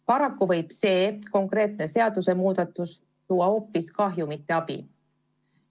Paraku võib see konkreetne seadusemuudatus tuua hoopis kahju, mitte abi anda.